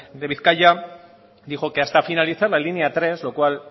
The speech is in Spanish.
de bizkaia dijo que hasta finalizar la línea tres lo cual